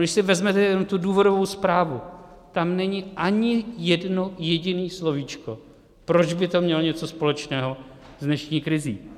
Když si vezmete jenom tu důvodovou zprávu, tam není ani jedno jediné slovíčko, proč by to mělo něco společného s dnešní krizí.